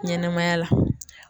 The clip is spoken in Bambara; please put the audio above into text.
Ɲɛnɛmaya la